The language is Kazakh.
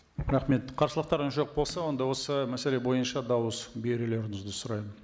рахмет қарсылықтарыңыз жоқ болса онда осы мәселе бойынша дауыс берулеріңізді сұраймын